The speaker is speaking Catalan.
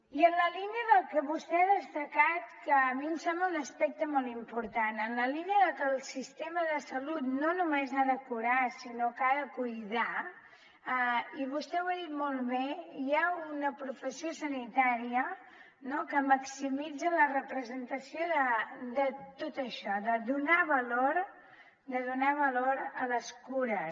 i en la línia del que vostè ha destacat que a mi em sembla un aspecte molt important en la línia de que el sistema de salut no només ha de curar sinó que ha de cuidar i vostè ho ha dit molt bé hi ha una professió sanitària que maximitza la representació de tot això de donar valor a les cures